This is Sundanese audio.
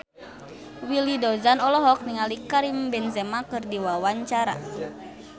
Willy Dozan olohok ningali Karim Benzema keur diwawancara